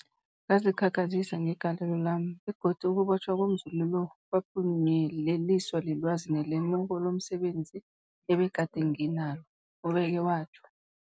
Ngazikhakhazisa ngegalelo lami, begodu ukubotjhwa komzumi lo kwaphunyeleliswa lilwazi nelemuko lomse benzi ebegade nginalo, ubeke watjho.